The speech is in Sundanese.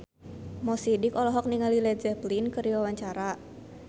Mo Sidik olohok ningali Led Zeppelin keur diwawancara